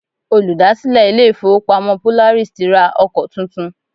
Olùdásílẹ̀ ilé ìfọwọ́pamo Polaris ti ra ọkọ tuntun.